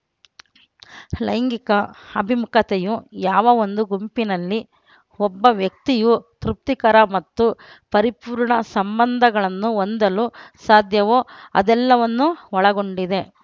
ಲೈಂಗಿಕ ಅಭಿಮುಖತೆಯು ಯಾವ ಒಂದು ಗುಂಪಿನಲ್ಲಿ ಒಬ್ಬ ವ್ಯಕ್ತಿಯು ತೃಪ್ತಿಕರ ಮತ್ತು ಪರಿಪೂರ್ಣ ಸಂಬಂಧಗಳನ್ನು ಹೊಂದಲು ಸಾಧ್ಯವೋ ಅದೆಲ್ಲವನ್ನೂ ಒಳಗೊಂಡಿದೆ